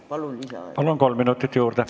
Palun lisaaega!